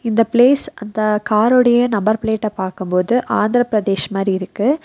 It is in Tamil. இந்த பிளேஸ் அந்த காரோடைய நம்பர் பிளேட்டா பாக்கும் போது ஆந்திரபிரதேஷ் மாரி இருக்கு.